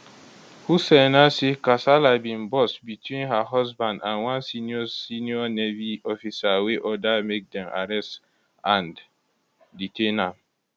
hussaina say kasala bin burst between her husband and one senior senior navy officer wey order make dem arrest and detain am